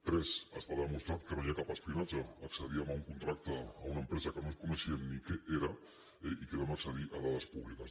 tres està demostrat que no hi ha cap espionatge accedíem a un contracte amb una empresa que no coneixíem ni què era eh i vam accedir a dades públiques